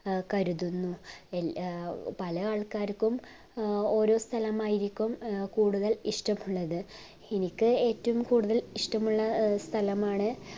കരുതുന്നു ഏർ പല ആൾക്കാർക്കും ഓരോ സ്ഥലം ആയിരിക്കും കൂടുതൽ ഇഷ്ടമുള്ളത് എനിക്ക് ഏറ്റവും കുടുതൽ ഇഷ്ടമുള്ള സ്ഥലമാണ്